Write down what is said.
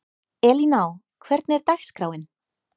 Elíná, hvernig er dagskráin?